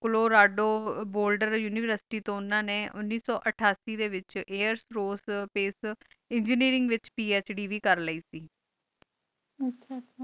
Colorado Boulder univistry ਓਨਾ ਨੀ ਉਨੀਸ ਸੋ ਅਤਾਸ੍ਯ ਡੀ ਵਿਚ ਆਇਰfਓਰ੍ਕੇ ਸ੍ਪਾਕੇ ਏਨ੍ਗੀਨੀਰਿੰਗ ਵਿਚ ਫੜ ਵ ਕਰ ਲੀਏ ਕ ਆਚਾ ਆਚਾ